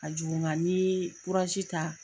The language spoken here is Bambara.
Ka jugu ŋa ni ye kurazi ta